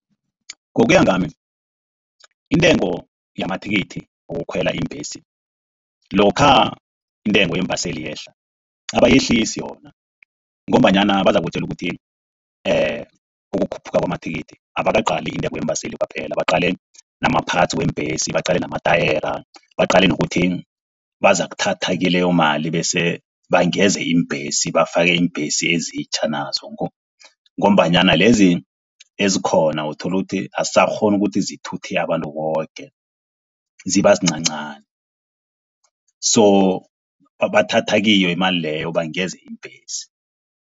Ngokuya ngami intengo yamathikithi wokukhwela iimbhesi. Lokha intengo yeembaseli yehla, abayehlisi yona ngombanyana bazakutjele ukuthi ukukhuphuka kwamathikithi abakaqali intengo yeembaseli kwaphela. Baqale nama-parts weembhesi, baqale amatayera, baqale nokuthi bazokuthatha kileyo mali bese bangeze iimbhesi. Bafake iimbhesi ezitjha nazo ngombanyana lezi ezikhona uthola ukuthi asisakghoni ukuthi zithuthe abantu koke, ziba zincancani. So bathatha kiyo imali leyo bangeze iimbhesi.